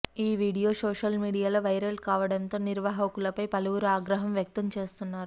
ఈ video social మీడియాలో viral కావడంతో నిర్వాహకులపై పలువురు ఆగ్రహం వ్యక్తం చేస్తున్నారు